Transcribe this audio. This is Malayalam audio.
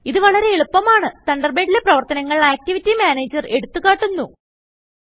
ഇത് വളരെ എളുപ്പമാണ്തണ്ടർബേഡിലെ പ്രവർത്തനങ്ങൾActivity Managerഎടുത്തുകാട്ടുന്നു